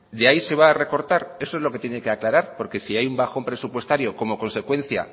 de ahí se va a recortar eso es lo que tiene que aclarar porque si hay un bajón presupuestario como consecuencia